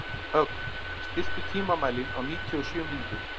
Ögn, stilltu tímamælinn á níutíu og sjö mínútur.